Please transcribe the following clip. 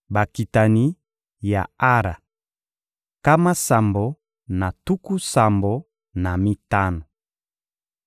Bakitani ya Ara: nkama sambo na tuku sambo na mitano.